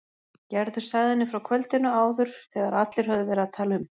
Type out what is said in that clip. Gerður sagði henni frá kvöldinu áður þegar allir höfðu verið að tala um